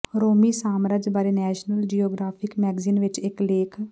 ਰੋਮੀ ਸਾਮਰਾਜ ਬਾਰੇ National Geographic magazine ਵਿਚ ਇਕ ਲੇਖ